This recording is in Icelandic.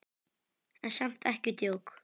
En samt ekki djók.